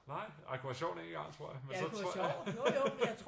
Nej? Ej det kunne være sjovt én gang tror jeg men så tror jeg